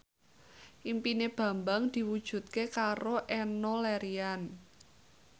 impine Bambang diwujudke karo Enno Lerian